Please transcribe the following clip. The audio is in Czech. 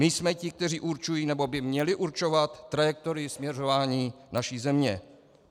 My jsme ti, kteří určují, nebo by měli určovat trajektorii směřování naší země.